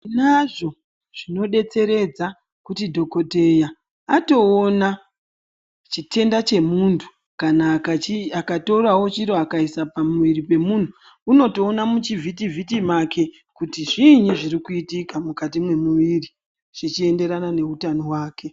Tinazvo zvinodetseredza kuti dhokodheya atoona chitenda chemuntu. Kana akatorawo chiro akaisa pamiri pemunhu unotoona muchivhitivhiti make kuti zvii zvirikuitika mukati mwemiri zvichienderana neutano hwake.